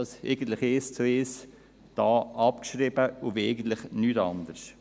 Eigentlich haben wir dies eins zu eins abgeschrieben und wollen eigentlich nichts anderes.